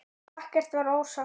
Ekkert var ósagt.